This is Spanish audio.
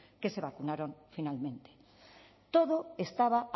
que se vacunaron finalmente todo estaba